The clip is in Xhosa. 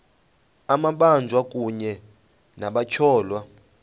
amabanjwa kunye nabatyholwa